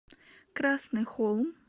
красный холм